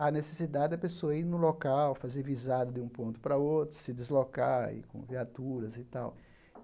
Há necessidade da pessoa ir no local, fazer visada de um ponto para outro, se deslocar, ir com viaturas e tal.